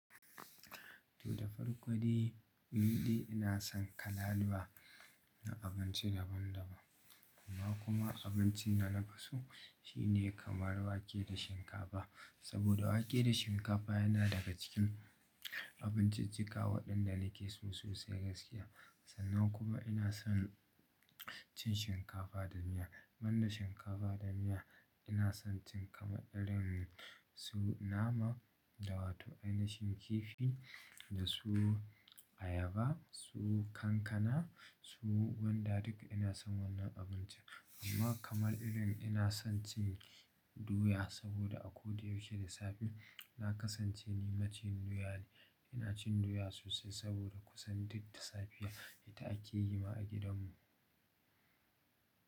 To da farko dai, ni dai ina son kalaluwa na abinci daban-daban amma kuma abincin da na fi so shi ne kamar wake da shinkafa. Saboda wake da shinkafa yana daga cikin abinci cika waɗanda nake so sosai gaskiya. Sannan kuma ina son cin shinkafa da miya. Man da shinkafa da miya ina son cin kamar irin su nama, da wato ainihin kifi, da su ayaba, su kankana, su gwanda duk ina son wannan abinci. Amma kamar irin ina son cin doya saboda a ko da yaushe da safe na kasance ni maciyin doya ne. Ina cin doya sosai saboda kusan duk da safiya ita ake yi ma a gidanmu.